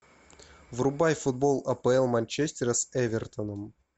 врубай футбол апл манчестера с эвертоном